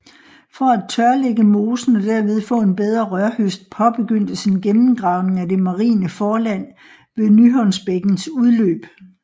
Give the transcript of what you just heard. For at tørlægge mosen og derved få en bedre rørhøst påbegyndtes en gennemgravning af det marine forland ved Nyhåndsbækkens udløb